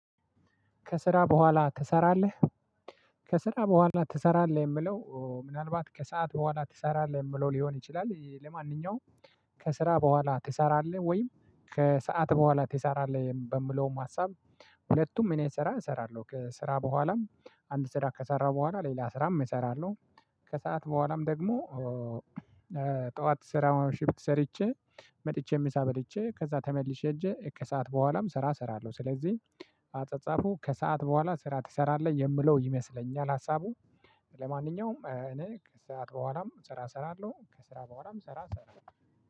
ከስራ በኋላ ትሰራለህ ከስራ በኋላ ትሰራለህ የምለው ምናልባት ከሰአት በኋላ ትሰራለህ የምለው ሊሆን ይችላል ለማንኛውም ከስራ በኋል ትሰራለህ ወይ? ከስአት በኋላ ትሰራለሁ በሚለው ሀሳብ ሁለቱም እኔ ስራ እሰራለሁ ስራ በኋላም አንድ ስራ ከሰራሁ በኋላ ሌላ ስራም እሰራለሁ ከሰአት በኋላም ደግሞ ጠዋት ስራ ማውሽፕት ሰርቼ መጥቼ ምሳ በልቼ ከዛ ተመልሼ እንጂ ከሰአት በኋላም ስራ እሰራለሁ ስለዚህ አጸጻፉ ከሰአት በኋላ ስራ ትሰራለህ የምለው ይመስለኛል ሀሳቡ ለማንኛውም እኔ ከስአት በኋላም ስራ እሰራለሁ ከስራ በኋላም ስራ እሰራለሁ።